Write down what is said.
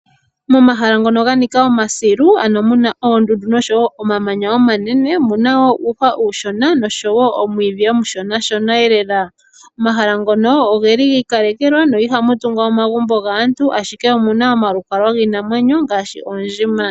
Momahala ngono ganika omasilu ano muna oondundu oshowoo omamanya omanene. Omuna uuhwa uushona nomwiidhi omushona. Omahala ngono ogeli giikalekelwa no ohamu tungwa omagumbo gaantu, ashike omuna omalukalwa giinamwenyo.